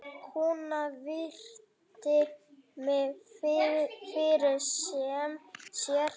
Konan virti mig fyrir sér.